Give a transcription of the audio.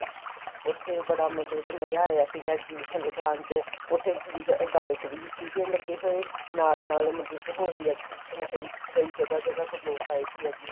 ਉੱਥੇ ਬੜਾ ਮਤਲਬ ਕੇ ਮਜ਼ਾ ਆਇਆ ਸੀਗਾ exhibition ਲਗਾਣ ਚ ਉੱਥੇ ਗਾਇਕ ਵੀ ਸੀ ਲੱਗੇ ਹੋਏ ਨਾਲ ਨਾਲ ਮਤਲਬ ਕੇ ਹੋਰ ਵੀ exhibition ਕਈ ਕਈ ਜਗਾਂ ਜਗਾਂ ਤੋ ਲੋਕ ਆਏ ਸੀ exhibition